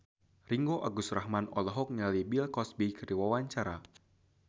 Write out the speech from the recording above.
Ringgo Agus Rahman olohok ningali Bill Cosby keur diwawancara